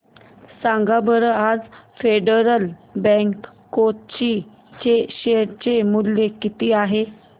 सांगा बरं आज फेडरल बँक कोची चे शेअर चे मूल्य किती आहे